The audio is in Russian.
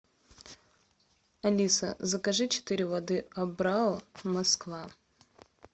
алиса закажи четыре воды абрау москва